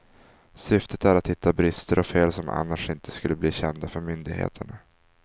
Syftet är att hitta brister och fel som annars inte skulle bli kända för myndigheterna.